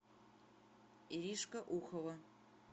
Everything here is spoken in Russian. иришка ухова